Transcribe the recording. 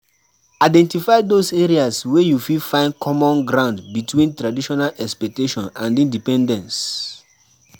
Identify those areas wey you fit find common ground between traditional expectation and independence